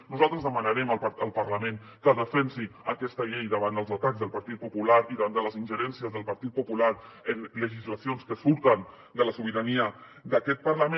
nosaltres demanarem al parlament que defensi aquesta llei davant els atacs del partit popular i davant de les ingerències del partit popular en legislacions que surten de la sobirania d’aquest parlament